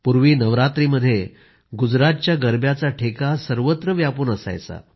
पूर्वी नवरात्रिमध्ये गुजरातच्या गरब्याचा ठेका सर्वत्र व्यापून असायचा